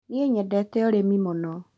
Nĩ nyendete ũrĩmi mũno